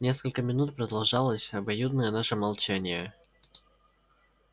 несколько минут продолжалось обоюдное наше молчание